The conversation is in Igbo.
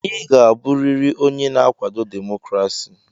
Ị ga-abụrịrị onye na-akwado demokrasi!